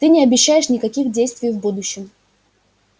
ты не обещаешь никаких действий в будущем